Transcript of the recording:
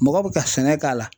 Mɔgɔ bɛ ka sɛnɛ k'a la